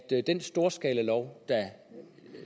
den storskalalov